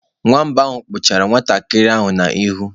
Nwamba ahụ kpụchara nwantakịrị ahụ n'ihu.